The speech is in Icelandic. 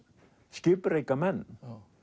skipreika menn